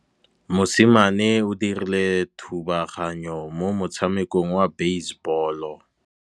Mosimane o dirile thubaganyô mo motshamekong wa basebôlô.